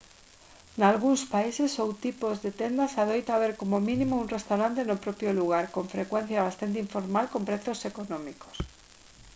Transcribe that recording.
nalgúns países ou tipos de tendas adoita haber como mínimo un restaurante no propio lugar con frecuencia bastante informal con prezos económicos